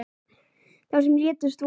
Þau sem létust voru